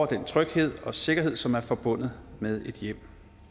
den tryghed og sikkerhed som er forbundet med et hjem